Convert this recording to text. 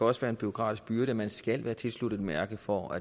også være en bureaukratisk byrde at man skal være tilsluttet et mærke for